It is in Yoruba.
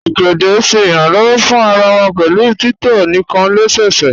Ogede ṣẹ iranlọwọ̀ fún àrà wà pẹ̀lú títọ̀ níkan lẹ́sẹ̀sẹ̀